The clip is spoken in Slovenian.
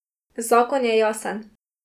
Zakon je jasen.